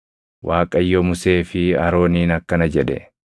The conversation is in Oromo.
Waaqayyo Musee fi Arooniin akkana jedhe: